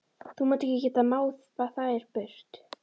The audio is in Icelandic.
Þú munt ekki geta máð þær burt.